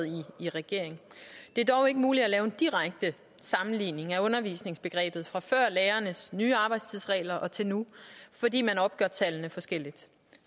i regering det er dog ikke muligt at lave en direkte sammenligning af undervisningsbegrebet fra før lærernes nye arbejdstidsregler til nu fordi man opgør tallene forskelligt